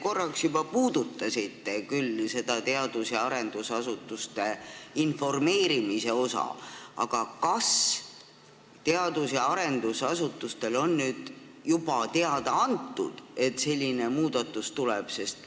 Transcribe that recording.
Te korraks küll juba puudutasite seda teadus- ja arendusasutuste informeerimist, aga kas teadus- ja arendusasutustele on juba teada antud, et selline muudatus tuleb?